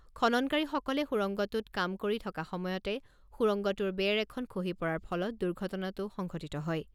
খননকাৰীসকলে সুৰংগটোত কাম কৰি থকা সময়তে সুৰংগটোৰ বেৰ এখন খহি পৰাৰ ফলত দুৰ্ঘটনাটো সংঘটিত হয়।